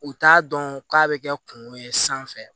U t'a dɔn k'a bɛ kɛ kungo ye sanfɛ